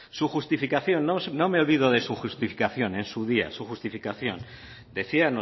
su justificación no me olvido de su justificación en su día su justificación decía